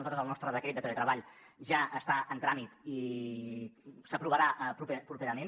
nosaltres el nostre decret teletreball ja està en tràmit i s’aprovarà properament